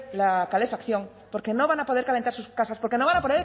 la calefacción porque no van a poder calentar sus casas porque no van a